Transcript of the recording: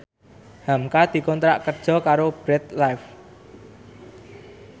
hamka dikontrak kerja karo Bread Life